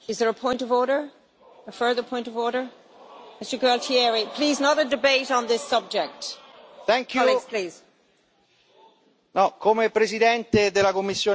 Come presidente della commissione affari economici e monetari, ho letto con grande sconcerto le dichiarazioni del mio primo vicepresidente,